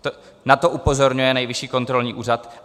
Na to upozorňuje Nejvyšší kontrolní úřad.